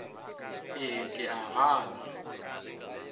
e ke ga a na